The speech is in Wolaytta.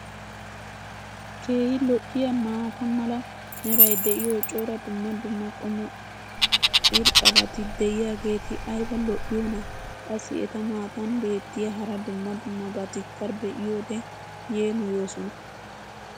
keehi lo'iyaa maata mala meray diyo cora dumma dumma qommo irxxabati diyaageti ayba lo'iyoonaa? Qassi eta matan beetiya hara dumma dummabatikka be'iyoode yeemmoyoosona.